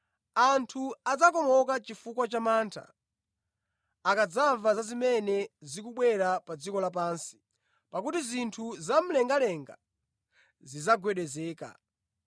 Anthu adzakomoka chifukwa cha mantha, akadzamva za zimene zikubwera pa dziko lapansi, pakuti zinthu zamlengalenga zidzagwedezeka.